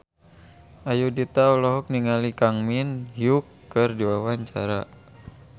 Ayudhita olohok ningali Kang Min Hyuk keur diwawancara